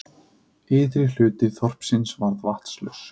Ytri hluti þorpsins varð vatnslaus